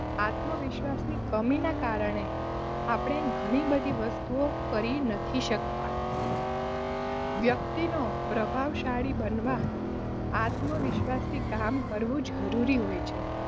આત્મવિશ્વાસની કમી નાં કારણે આપણે ઘણી -બધી વસ્તુ કરી નથી શકતા વ્યક્તિનો પ્રભાવશાળી બનવા આત્મવિશ્વાસથી કામ કરવું જરૂરી હોય છે.